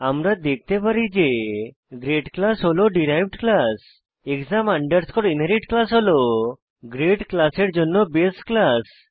আমরা দেখতে পারি যে গ্রেড ক্লাস হল derived class exam underscore inherit class হল গ্রেড ক্লাসের জন্য বাসে ক্লাস